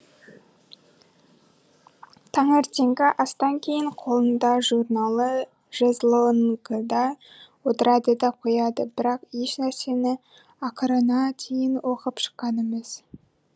таңертеңгі астан кейін қолында журналы жезлонгыда отырады да қояды бірақ ешнәрсені ақырына дейін оқып шыққан емес